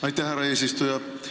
Pange see nüüd siia kõrvale!